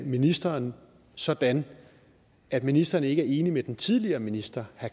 ministeren sådan at ministeren ikke er enig med den tidligere minister